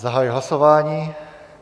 Zahajuji hlasování.